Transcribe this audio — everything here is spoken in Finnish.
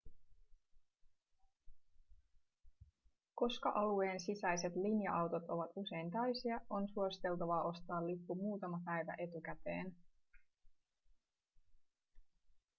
koska alueen sisäiset linja-autot ovat usein täysiä on suositeltavaa ostaa lippu muutama päivä etukäteen